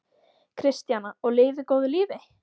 Kristjana: Og lifi góðu lífi?